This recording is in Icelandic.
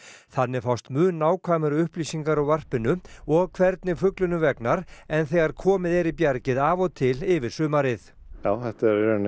þannig fást mun nákvæmari upplýsingar úr varpinu og hvernig fuglunum vegnar en þegar komið er í bjargið af og til yfir sumarið já þetta